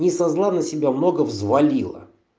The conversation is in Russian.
не со зла на себя много взвалила